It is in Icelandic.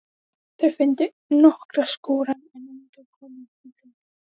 Þau fundu nokkra skúra en enga konu í þeim.